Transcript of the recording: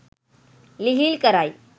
ලිහිල් කරයි